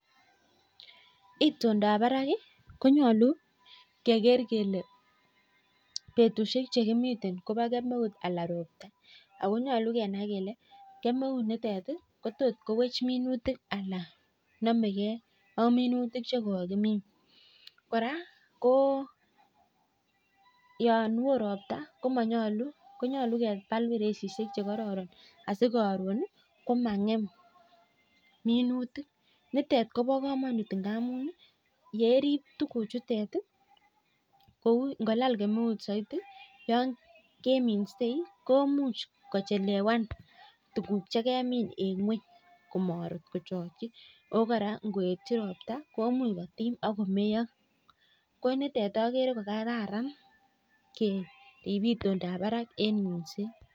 Itindab barak konyolu keker kele betushk chekimi kobo kjemeut ala roptaa ako nyolu kenai kjele kemeunitet kotot kowech minutik alan nomekjei ak minutik chekokimin kora ko yan woo roptaa konyolu kebal beresishek asikoron ko mangem minutik nitet kobo kamanut amun ii yerib tuguk chutet kou ingolal kemeut kemuche kechelewan tuguk chekemin en ngweny komochokyi oo kora ingoet ko imuch kotim ak komeyoo ko nitet oker kokararan en itondab barak.